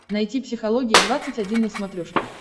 найти психология двадцать один на смотрешке